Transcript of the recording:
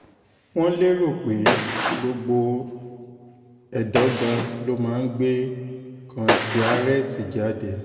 wọ́n lérò pé gbogbo ẹ̀dọ́gba ló máa ń gbé kọ́ńtíárẹ́tì jáde